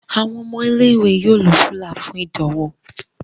Àwon ọmọ ilé ìwé yóò ló Rúlà fún ìdánwò.